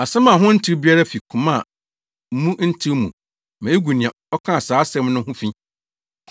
Asɛm a ho ntew biara fi koma a mu ntew mu ma egu nea ɔkaa saa asɛm no ho fi.